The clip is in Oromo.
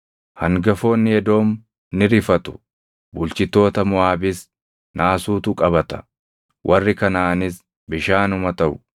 Hangafoonni Edoom ni rifatu; bulchitoota Moʼaabis naasuutu qabata; warri Kanaʼaanis bishaanuma taʼu;